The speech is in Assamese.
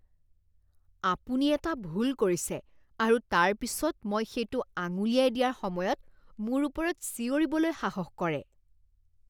আপুনি এটা ভুল কৰিছে আৰু তাৰ পিছত মই সেইটো আঙুলিয়াই দিয়াৰ সময়ত মোৰ ওপৰত চিঞৰিবলৈ সাহস কৰে।